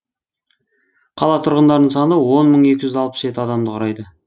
қала тұрғындарының саны он мың екі жүз алпыс жеті адамды құрайды